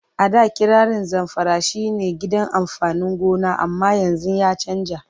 A da kirarin Zamfara shi ne gidan amfanin gona amma yanzu ya canja.